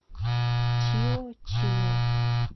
чио чио